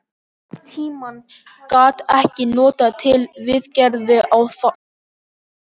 Tímann gat ég notað til viðgerða á þakinu.